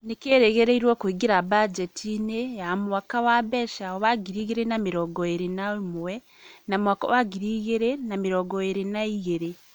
nĩ kĩrĩgĩrĩirwo kũingĩra bajeti-inĩ ya mwaka wa mbeca wa ngiri igĩrĩ na mĩrongo ĩrĩ na ĩmwe na mwaka wa ngiri igĩrĩ na mĩrongo ĩrĩ na igĩrĩ.